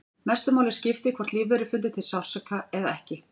Mestu máli skipti hvort lífverur fyndu til sársauka eða ekki.